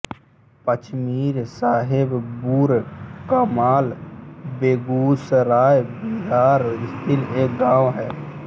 पचमीर साहेबपुरकमाल बेगूसराय बिहार स्थित एक गाँव है